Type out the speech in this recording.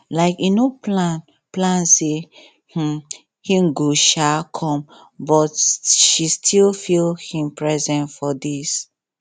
um im no plan plan say um him go um come but she still feel him presence for days